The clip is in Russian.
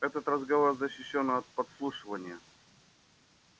этот разговор защищён от подслушивания